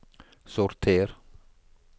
sorter